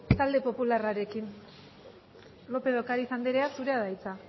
talde popularrarekin lópez de ocariz anderea zurea da hitza